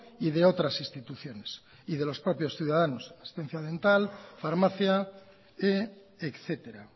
y de otras instituciones y de los propios ciudadanos asistencia dental farmacia etcétera